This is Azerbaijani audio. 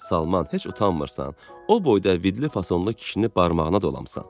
Salman, heç utanmırsan, o boyda vidli-fasonlu kişini barmağına dolamısan?